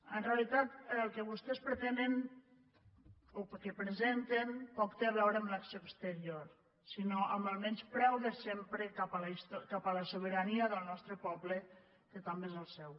en realitat el que vostès presenten poc té a veure amb l’acció exterior sinó amb el menyspreu de sempre cap a la sobirania del nostre poble que també és el seu